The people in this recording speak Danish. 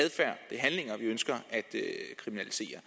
handlinger vi ønsker at kriminalisere